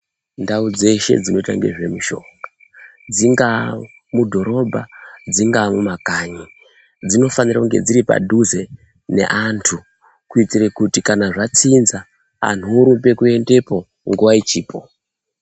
Ndau dzeshe dzinoita ngezvemushonga dzingaa mudhorobha dzingaa mumakanyi dzinofanira kunge dziri padhuze neantu kuitire kuti kana zvatsinza antu orumbe kuendepo nguva ichipo.